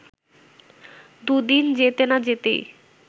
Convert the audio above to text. দু’দিন যেতে না যেতেই